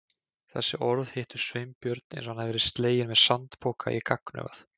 Þessi orð hittu Sveinbjörn eins og hann hefði verið sleginn með sandpoka í gagnaugað.